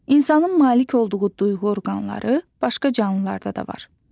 İnsanın malik olduğu duyğu orqanları başqa canlılarda da var.